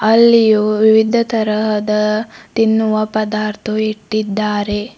ಅಲ್ಲಿಯು ವಿವಿಧ ತರಹದ ತಿನ್ನುವ ಪದಾರ್ಥವು ಇಟ್ಟಿದ್ದಾರೆ.